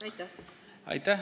Aitäh!